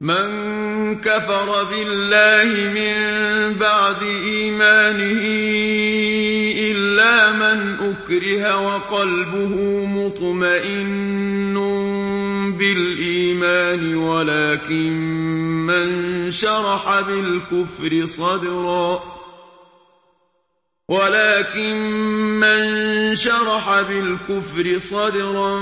مَن كَفَرَ بِاللَّهِ مِن بَعْدِ إِيمَانِهِ إِلَّا مَنْ أُكْرِهَ وَقَلْبُهُ مُطْمَئِنٌّ بِالْإِيمَانِ وَلَٰكِن مَّن شَرَحَ بِالْكُفْرِ صَدْرًا